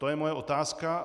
To je moje otázka.